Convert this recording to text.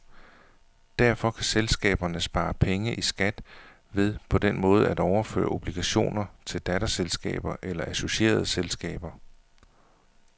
Derfor kan selskaberne spare penge i skat ved på den måde at overføre obligationer til datterselskaber eller associerede selskaber.